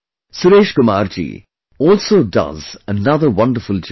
Suresh Kumar ji also does another wonderful job